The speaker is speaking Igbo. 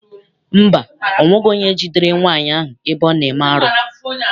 Mba, ọ nweghị onye jidere nwaanyị ahụ ebe ọ na-eme arụ.